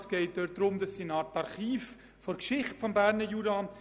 Es handelt sich dabei um eine Art Archiv der Geschichte des Berner Juras.